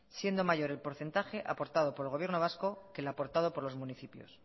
siendo mayor el porcentaje aportado por el gobierno vasco que el aportado por los municipios